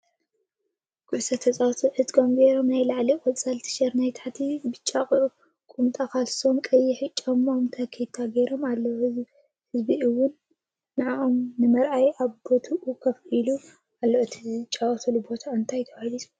ኩዕሶ ተፃወቲ ዕጥቆም ጌሮም ናይ ላዕሊ ቆፃል ቲሸርት ናይ ታሕቲ ቢጫ ቁምጣ ካልሶም ቀይሕ ጫምኦም ታኬታ ገይሮም ኣለዉ። ህዝቢ እውን ንፆኦም ንምርኣይ ኣብ ቦትኡ ኮፍ ኢሉ ኣሎ እቲ ዝጫወቱሉ ቦታ እንታይ ተባሂሉ ይፅዋዕ ?